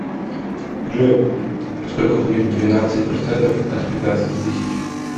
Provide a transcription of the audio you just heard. джой сколько будет двенадцать процентов от пятнадцати тысяч